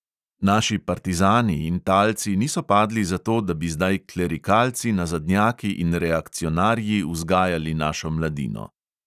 Naši partizani in talci niso padli zato, da bi zdaj klerikalci, nazadnjaki in reakcionarji vzgajali našo mladino.